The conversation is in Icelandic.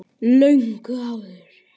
Löngu áður.